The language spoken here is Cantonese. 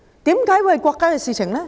為何是國家的事情？